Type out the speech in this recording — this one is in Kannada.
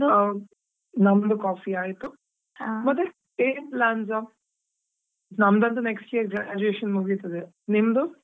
ಓಹ್, ನಮ್ದು coffee ಆಯ್ತು, ಏನ್ plans ನಮ್ದು ಅಂತು next year graduation ಮುಗಿತದೆ, ನಿಮ್ದು?